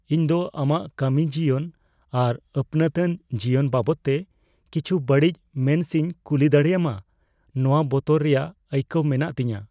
ᱤᱧ ᱫᱚ ᱟᱢᱟᱜ ᱠᱟᱹᱢᱤ ᱡᱤᱭᱚᱱ ᱟᱨ ᱟᱹᱯᱱᱟᱹᱛᱟᱱ ᱡᱤᱭᱚᱱ ᱵᱟᱵᱚᱫᱛᱮ ᱠᱤᱪᱷᱩ ᱵᱟᱹᱲᱤᱡ ᱢᱮᱱ ᱥᱮᱧ ᱠᱩᱞᱤ ᱫᱟᱲᱮᱭᱟᱢᱟ ᱱᱚᱶᱟ ᱵᱚᱛᱚᱨ ᱨᱮᱭᱟᱜ ᱟᱹᱭᱠᱟᱹᱣ ᱢᱮᱱᱟᱜ ᱛᱤᱧᱟ ᱾